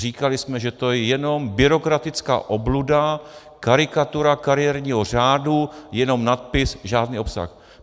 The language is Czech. Říkali jsme, že to je jenom byrokratická obluda, karikatura kariérního řádu, jenom nadpis, žádný obsah.